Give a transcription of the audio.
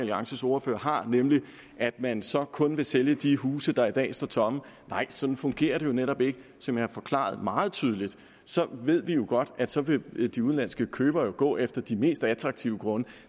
alliances ordfører har nemlig at man så kun vil sælge de huse der i dag står tomme nej sådan fungerer det jo netop ikke som jeg har forklaret meget tydeligt ved vi jo godt at så vil vil de udenlandske købere gå efter de mest attraktive grunde